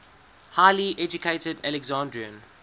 highly educated alexandrian